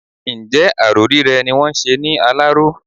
Ǹjẹ́ aró rírẹ́ ni wọ́n ń ṣe ní Aláró?